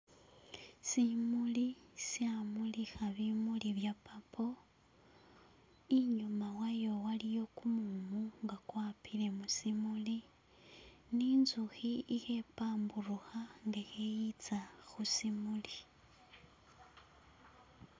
Simuli shamulikha bimuli bye purple, inyuma wayo waliyo kumumu nga kwapile musimuli ne inzukhi khe pamburukha nga khayitsa khusimuli.